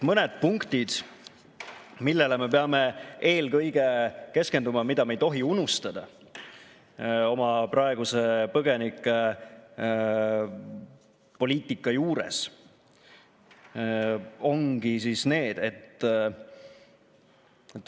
Mõned punktid, millele me peame eelkõige keskenduma, mida me ei tohi oma praeguse põgenikepoliitika juures unustada.